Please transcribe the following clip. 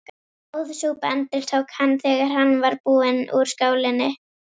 Góð súpa endurtók hann, þegar hann var búinn úr skálinni.